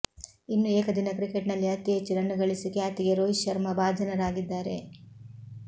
ಇನ್ನು ಏಕದಿನ ಕ್ರಿಕೆಟ್ ನಲ್ಲಿ ಅತೀ ಹೆಚ್ಚು ರನ್ ಗಳಿಸಿ ಖ್ಯಾತಿಗೆ ರೋಹಿತ್ ಶರ್ಮಾ ಭಾಜನರಾಗಿದ್ದಾರೆ